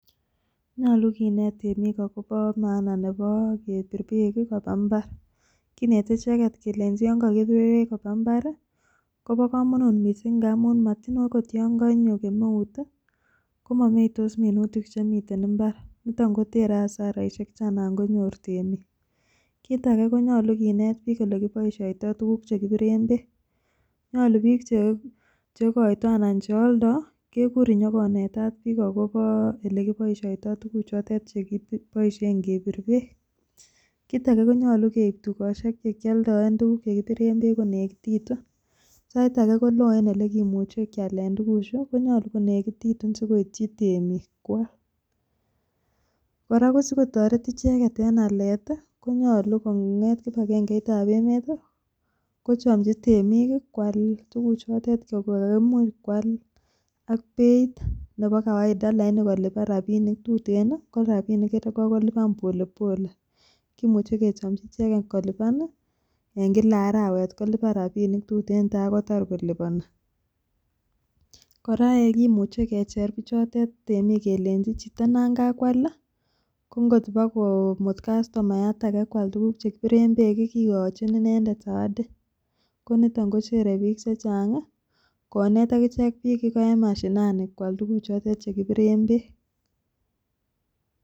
Nyolu kinet temik akopo maana nepo kebir beek kopaa mbar kineti icheketi kelenchi yon kokibir beek kopaa mbar kobokomonut missing amun motiny akot yon konyo kemeut komomeitos minutik chemiten mbar nito kotere hasaraisiek cheanakonyor temik, kit ake konyolu kinet biik olekiboisioto tukuk chekibiren beek nyolu biik chekoito ana chealdo kekuur inyokonetat biik akopo olekiboisioto tukuchoton chekiboisien kibiren beek ,kit ake konyolu keip tukosiek chekialdoen tukuk chekibiren beek konekititu, sait ake koloo en elekimuche kialen tukuchu konyolu konekititu sikoityi temik kwal, kora kosikotoret icheket en alet konyolu kong'et kipakengeitab emet kochomchi temik kwal tukuchotet koimuch kwal ak beit nepo[cas] kawaida laini kolipan rapinik tuten lakini iko kolipan polepole kimuche kechomchi icheket kolipan en kila arawet kolipan rapinik tuten takotar kolipani, kora kimuche kecher bichotet temik kelenchi chito nangakwal kongot ipa komut kastomayat ake kwal tukuk chekibiren beek kikochin inendet sawadi koniton kochere biik chechang konet akichek biik iko en mashinani kwal tukuchotet chekibireb beek.